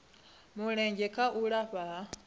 mulenzhe kha u lafha ha